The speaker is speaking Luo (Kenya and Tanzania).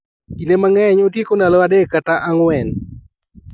Kinde mang'eny otieko ndalo adek kata ang'wen